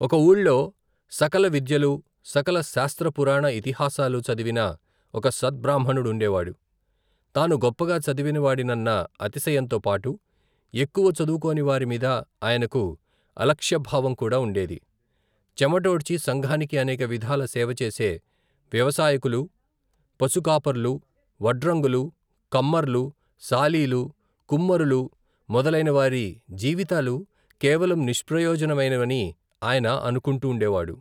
ఒక ఊళ్లో సకల విద్యలు సకల శాస్త్రపురాణ ఇతిహాసాలు చదివిన ఒక సద్ బ్రాహ్మణుడుండేవాడు తాను గొప్పగా చదివినవాడి నన్న అతిశయంతో పాటు ఎక్కువ చదువుకోని వారి మీద ఆయనకు అలక్ష్యభావం కూడా ఉండేది చెమటోడ్చి సంఘానికి, అనేక విధాల సేవచేసే వ్యవసాయకులు, పశుకాపర్లు, వడ్రంగులు, కమ్మర్లు, సాలీలు, కుమ్మరులు, మొదలైన వారి జీవితాలు కేవలం నిష్ప్రయోజనమైనవని ఆయన అనుకుంటూండేవాడు.